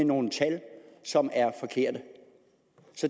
nogle tal som er forkerte